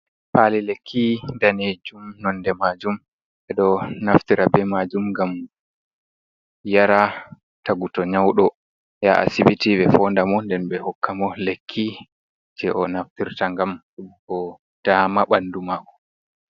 "Pali lekki" danejum nonde majum ɓeɗo naftira be majum ngam yaraa tagu to nyauɗo yaha asibiti ɓe foonda mo nden ɓe hokka mo lekki je o naftirta ngam bo dama ɓanɗu mako.